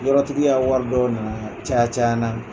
Yɔrɔ tigiya ka wari dɔw na na caya caya n na.